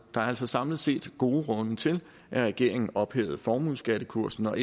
er altså samlet set gode grunde til at regeringen ophævede formueskattekursen og